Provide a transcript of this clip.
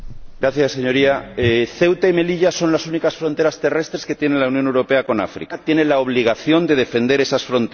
Señoría, Ceuta y Melilla son las únicas fronteras terrestres que tiene la Unión Europea con África. España tiene la obligación de defender esas fronteras